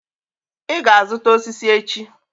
I ga-aga izuta osiso echi